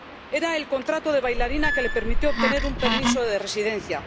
Era el contrato de bailarina que le permitió obtener un permiso de residencia.